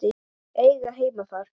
Eiga heima þar.